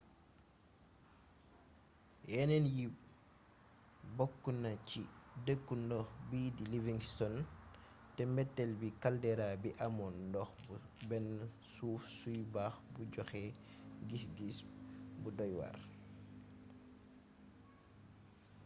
yénéén yi bokkna ci deeku ndox biidi livingston té mbéttél bi caldera bi amoon ndox bu bénn suuf suy bax bu joxé gisggis bu doy war